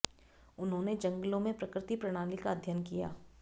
उन्होंने जंगलों में प्रकृति प्रणाली का अध्ययन किया